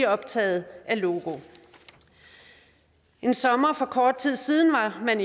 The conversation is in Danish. optaget af logo en sommer for kort tid siden havde man